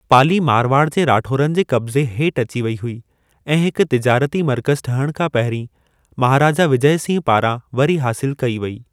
पाली मारवाड़ जे राठौड़नि जे क़ब्ज़े हेठि अची वेई हुई ऐं हिकु तिजारती मर्कज़ ठहण खां पहिरीं महाराजा विजय सिंह पारां वरी हासिलु कई वेई।